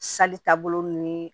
taabolo ninnu ye